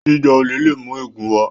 jíjà olè lè mú ègún wá